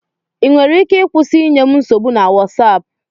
Ị nwere ike ịkwụsị inye m nsogbu na Wosap